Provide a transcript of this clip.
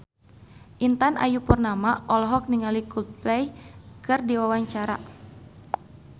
Intan Ayu Purnama olohok ningali Coldplay keur diwawancara